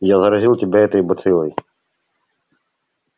я заразил тебя этой бациллой